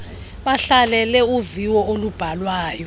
bahlalele uviwo olubhalwayo